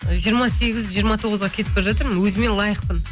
жиырма сегіз жиырма тоғызға кетіп бара жатырмын өзіме лайықпын